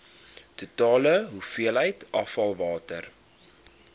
totale hoeveelheid afvalwater